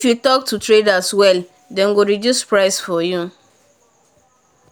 if you talk to trader well then go reduce price for you.